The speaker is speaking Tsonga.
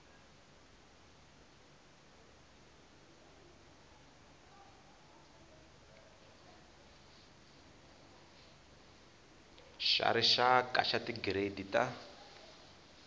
xa rixaka xa tigiredi ta